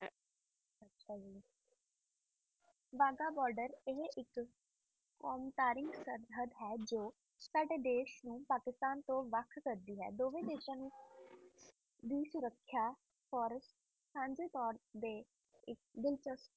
Wagah border ਇਕ ਕੋਮ ਕਰਿ ਸਰਹੰਦ ਹੈ ਜੋ ਦੇਸ਼ ਨੂੰ ਪਾਕਿਸਤਾਨ ਤੋਂ ਵਾਹ ਕਰਦੀ ਹੈ ਦੋਵਾਈ ਦੇਸ਼ਾਂ ਨੂੰ ਦੀ ਸੁਰਖਸ਼ਾ ਤੇ ਡੋਰ ਤੇ